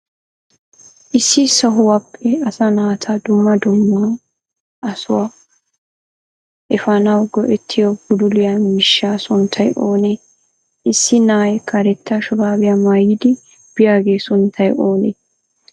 Issi sohuwappe asaa naata duummaa duumma a sohuwaa efanawu go'etiyo bululiyaa miishshaa sunttay oone? Issi naa'ay kareeta shurabbiya maayidi biyaaga sunttay oone?